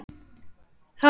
Það er safn í dag.